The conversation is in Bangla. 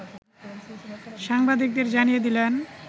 সাংবাদিকদের জানিয়ে দিলেন